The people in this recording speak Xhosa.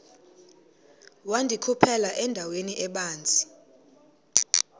wandikhuphela endaweni ebanzi